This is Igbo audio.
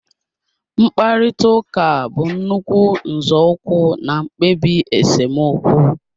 Mkparịta ụka bụ nnukwu nzọụkwụ na mkpebi esemokwu